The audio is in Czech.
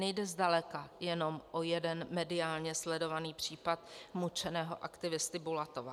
Nejde zdaleka jenom o jeden mediálně sledovaný případ mučeného aktivisty Bulatova.